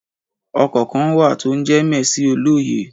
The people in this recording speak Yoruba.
Ọkọ̀ kan wà to ń jẹ mẹẹsì òlòyé